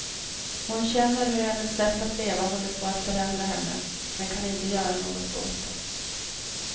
Hon känner hur hennes sätt att leva håller på att förändra henne, men kan inte göra något åt det.